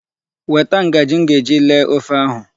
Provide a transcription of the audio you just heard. Weta ngaji m ga-eji lee ofe ahụ.